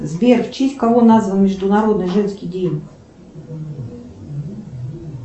сбер в честь кого назван международный женский день